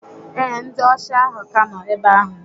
Ee, ndị ọsha ahụ ka nọ ebe ahụ.